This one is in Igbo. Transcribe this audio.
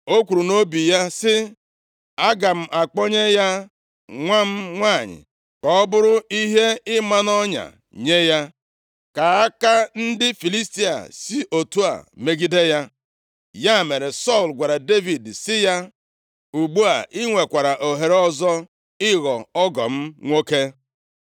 O kwuru nʼobi ya sị, “Aga m akpọnye ya nwa m nwanyị, ka ọ bụrụ ihe ịma nʼọnya nye ya, ka aka ndị Filistia si otu a megide ya.” Ya mere, Sọl gwara Devid sị ya, “Ugbu a i nwekwara ohere ọzọ ịghọ ọgọ m nwoke.”